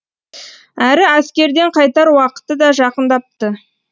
әрі әскерден қайтар уақыты да жақындапты